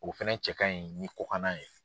O fɛnɛ cɛ ka ɲi ni kɔkan na ye.